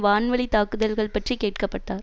வான்வழி தாக்குதல்கள் பற்றி கேட்கப்பட்டார்